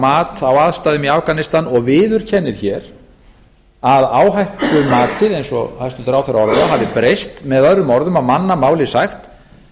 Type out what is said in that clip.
mat á aðstæðum í afganistan og viðurkennir hér að áhættumatið eins og hæstvirtur ráðherra orðar það hafi breyst möo á mannamáli sagt